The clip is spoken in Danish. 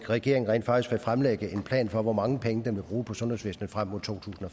regeringen rent faktisk vil fremlægge en plan for hvor mange penge den vil bruge på sundhedsvæsnet frem mod totusinde